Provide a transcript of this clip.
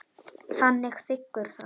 Hann þiggur það.